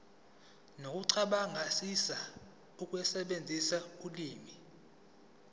nokucabangisisa ukusebenzisa ulimi